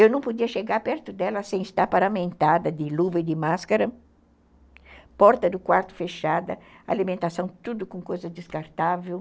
Eu não podia chegar perto dela sem estar paramentada de luva e de máscara, porta do quarto fechada, alimentação tudo com coisa descartável.